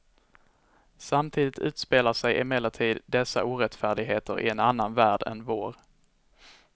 Samtidigt utspelar sig emellertid dessa orättfärdigheter i en annan värld än vår.